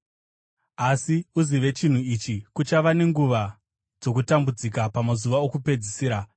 Asi uzive chinhu ichi: Kuchava nenguva dzokutambudzika pamazuva okupedzisira.